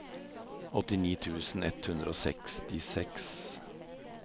åttini tusen ett hundre og sekstiseks